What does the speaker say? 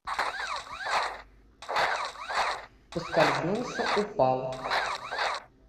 поскользнулся упал